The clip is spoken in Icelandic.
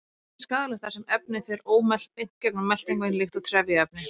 Það er ekki skaðlegt þar sem efnið fer ómelt beint gegnum meltingarveginn líkt og trefjaefni.